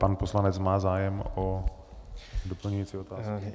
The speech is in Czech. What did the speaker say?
Pan poslanec má zájem o doplňující otázku.